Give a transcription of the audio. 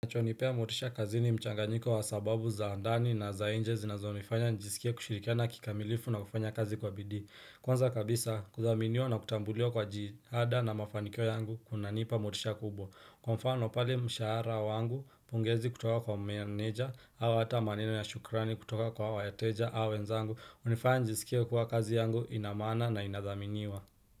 Chonipea motisha kazini mchanga nyiko wa sababu za ndani na za inje zinazo nifanya nijisikie kushirikiana kikamilifu na kufanya kazi kwa bidii Kwanza kabisa kuthaminiwa na kutambuliwa kwa jitihada na mafanikio yangu kuna nipa motisha kubwa Kwa mfano pale mshahara wangu pongezi kutoka kwa manager au hata maneno ya shukrani kutoka kwa wateja au wenzangu hunifanya njisikie kuwa kazi yangu ina maana na inathaminiwa.